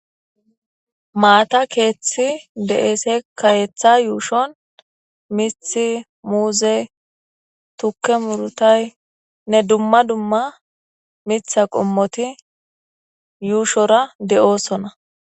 Maata keeththi de7es keetha yuushon mithi muuze tukke murutaynne dumma dumma mitha qommoti yuushora de7oosona.